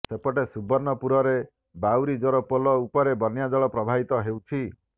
ସେପଟେ ସୁବର୍ଣ୍ଣପୁରରେ ବାଉରି ଜୋର ପୋଲ ଉପରେ ବନ୍ୟାଜଳ ପ୍ରବାହିତ ହେଉଛି